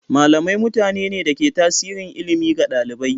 Malamai mutane ne da ke tasiri ilimi ga ɗalibai.